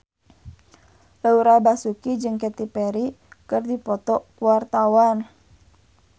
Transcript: Laura Basuki jeung Katy Perry keur dipoto ku wartawan